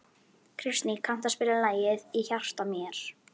Kristný, kanntu að spila lagið „Í hjarta mér“?